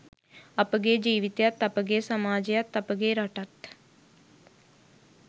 අපගේ ජීවිතයත් අපගේ සමාජයත් අපගේ රටත්